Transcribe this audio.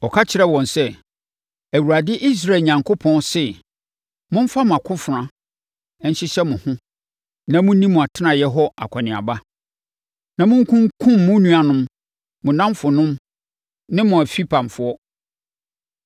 Ɔka kyerɛɛ wɔn sɛ, “ Awurade Israel Onyankopɔn se, ‘Momfa mo akofena nhyehyɛ mo ho na monni mo atenaeɛ hɔ akɔneaba, na monkunkum mo nuanom, mo nnamfonom ne mo afipamfoɔ.’ ”